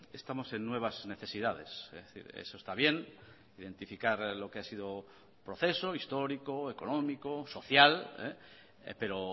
estamos en nuevas necesidades es decir eso está bien identificar lo que ha sido el proceso histórico económico social pero